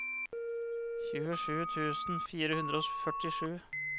tjuesju tusen fire hundre og førtisju